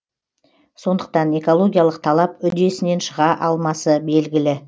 сондықтан экологиялық талап үдесінен шыға алмасы белгілі